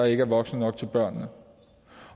ikke er voksne nok til børnene